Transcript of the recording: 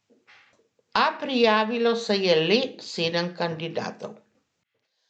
A prijavilo se je le sedem kandidatov.